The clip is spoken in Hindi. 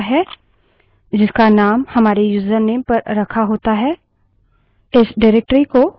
जब हम लिनक्स में login करते हैं यह साधारणतः हमें एक निर्देशिका directory में स्थान देता है जिसका named हमारे यूजरनेम पर रखा होता है